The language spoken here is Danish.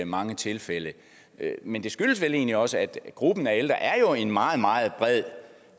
mange tilfælde men det skyldes vel egentlig også at gruppen af ældre er en meget meget bred